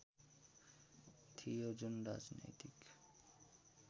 थियो जुन राजनैतिक